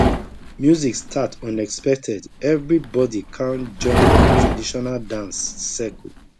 music start unexpected everybody kan join traditional dance circle